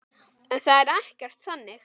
En það er ekkert þannig.